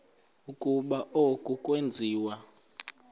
ukuba oku akwenziwa